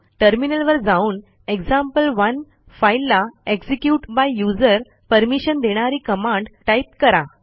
टर्मिनलवर जाऊन एक्झाम्पल1 फाईलला execute by यूझर परमिशन देणारी कमांड टाईप करा